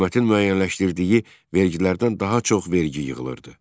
Hökumətin müəyyənləşdirdiyi vergilərdən daha çox vergi yığılırdı.